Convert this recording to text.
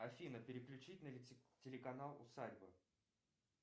афина переключить на телеканал усадьба